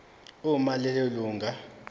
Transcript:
uma lelo lunga